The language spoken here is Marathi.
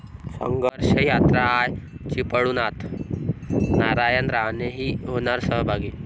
संघर्ष यात्रा आज चिपळुणात, नारायण राणेही होणार सहभागी!